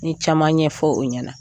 N ɲe caman ɲɛfɔ o ɲɛna.